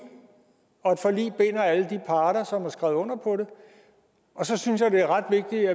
og et forlig binder alle de parter som har skrevet under på det så synes jeg det er ret vigtigt